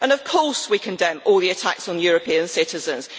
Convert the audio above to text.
And of course we condemn all the attacks on European citizens.